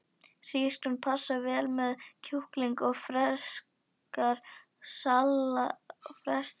Hrísgrjón passa vel með kjúklingi og ferskt salat er skylda.